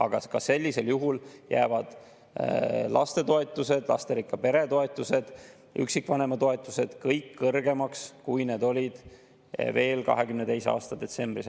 Aga ka sellisel juhul jäävad lapsetoetus, lasterikka pere toetus, üksikvanema toetus kõik kõrgemaks, kui need olid veel 2022. aasta detsembris.